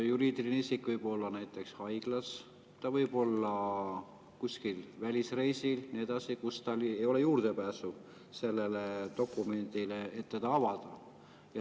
Juriidiline isik võib olla näiteks haiglas, ta võib olla kuskil välisreisil ja nii edasi, kus tal ei ole juurdepääsu sellele dokumendile, et seda avada.